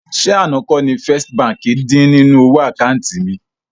Ṣé àná kọ́ ni First Bank dín nínú owó àkáùntì mi?